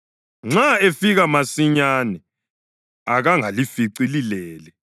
Nxa efika masinyane, akangalifici lilele.